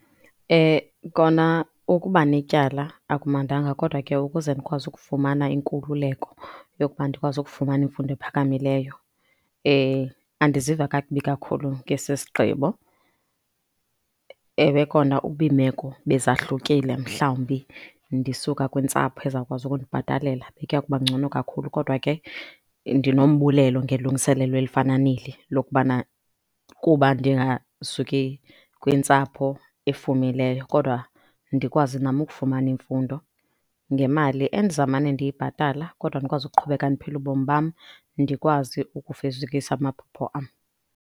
Kona ukuba netyala akumnandanga kodwa ke ukuze ndikwazi ukufumana inkululeko yokuba ndikwazi ukufumana imfundo ephakamileyo andiziva kakubi kakhulu ngesi sigqibo. Ewe kona uba imeko beza hlukile mhlawumbi ndisuka kwintsapho ezawukwazi ukundibhatalela bekuya kuba ngcono kakhulu. Kodwa ke ndinombulelo ngelungiselelo elifana neli lokubana kuba ndingasuki kwintsapho efumileyo kodwa ndikwazi nam ukufumana imfundo ngemali endiza mane ndiyibhatala kodwa ndikwazi ukuqhubeka ndiphila ubomi bam ndikwazi ukufezekisa amaphupho am.